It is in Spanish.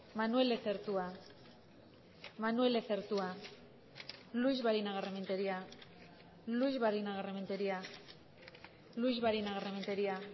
manuel lezertua manuel lezertua luix barinagarrementeria luix barinagarrementeria luix barinagarrementeria